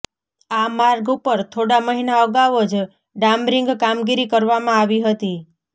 આ માર્ગ ઉપર થોડા મહિના અગાઉ જ ડામરીંગ કામગીરી કરવામાં આવી હતી